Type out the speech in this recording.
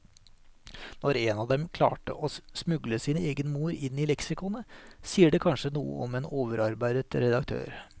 Når en av dem klarte å smugle sin egen mor inn i leksikonet, sier det kanskje noe om en overarbeidet redaktør.